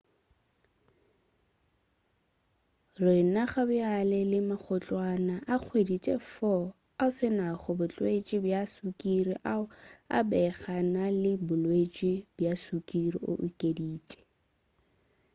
"re na gabjale le magotlwana a kgwedi-tše-4 ao a se nago bolwetši bja sukiri ao a bego a na le bolwetši bja sukiri, o okeditše